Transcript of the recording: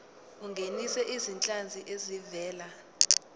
ungenise izinhlanzi ezivela